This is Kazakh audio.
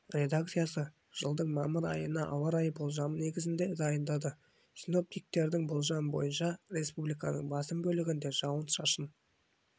редакциясы жылдың мамыр айына ауа райы болжамын негізінде дайындады синоптиктердің болжамы бойынша республиканың басым бөлігінде жауын-шашын